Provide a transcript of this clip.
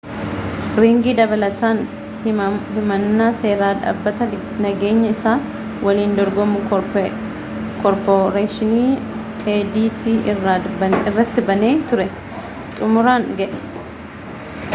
riingi dabalataan himannaa seeraa dhaabbata nageenyaa isa waliin dorgomu koorporeeshinii adt irratti banee ture xumuraan ga'e